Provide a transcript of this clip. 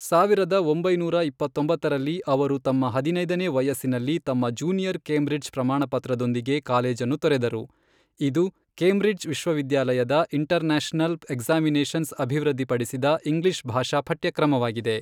ಸಾವಿರದ ಒಂಬೈನೂರ ಇಪ್ಪತ್ತೊಂಬತ್ತರಲ್ಲಿ, ಅವರು ತಮ್ಮ ಹದಿನೈದನೇ ವಯಸ್ಸಿನಲ್ಲಿ ತಮ್ಮ ಜೂನಿಯರ್ ಕೇಂಬ್ರಿಡ್ಜ್ ಪ್ರಮಾಣಪತ್ರದೊಂದಿಗೆ ಕಾಲೇಜನ್ನು ತೊರೆದರು, ಇದು ಕೇಂಬ್ರಿಡ್ಜ್ ವಿಶ್ವವಿದ್ಯಾಲಯದ ಇಂಟರ್ನ್ಯಾಷನಲ್ ಎಕ್ಸಾಮಿನೇಷನ್ಸ್ ಅಭಿವೃದ್ಧಿಪಡಿಸಿದ ಇಂಗ್ಲಿಷ್ ಭಾಷಾ ಪಠ್ಯಕ್ರಮವಾಗಿದೆ.